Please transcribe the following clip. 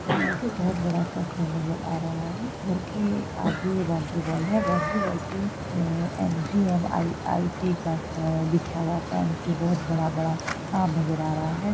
पीछे बहुत बड़ा-सा घर नज़र आ रहा है घर के आगे बाउंड्री वॉल है| बाउंड्री वॉल पे एम.जी.एम.आई.टी. अ लिखा हुआ बहुत बड़ा-बड़ा सा नजर आ रहा है।